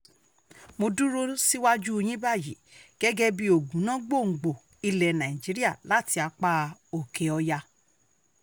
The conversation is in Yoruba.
mo dúró síwájú yín báyìí gẹ́gẹ́ bíi ògúnná gbòǹgbò ilẹ̀ nàìjíríà láti apá òkè ọ̀yá